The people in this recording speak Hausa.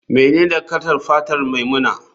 Menene kalar fatar maimuna?